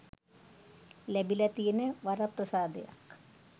ලැබිල තියෙන වරප්‍රසාදයක්.